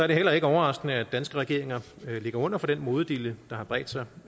det heller ikke overraskende at danske regeringer ligger under for den modedille der har bredt sig